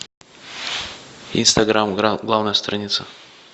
инстаграм главная страница